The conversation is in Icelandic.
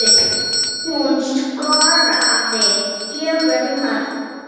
Hún skoraði fjögur mörk.